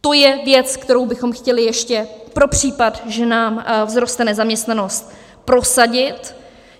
To je věc, kterou bychom chtěli ještě pro případ, že nám vzroste nezaměstnanost, prosadit.